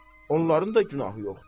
Onların da günahı yoxdur.